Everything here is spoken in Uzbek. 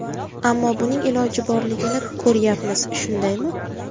Ammo buning iloji borligini ko‘ryapmiz, shundaymi?